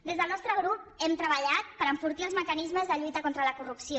des del nostre grup hem treballat per enfortir els mecanismes de lluita contra la corrupció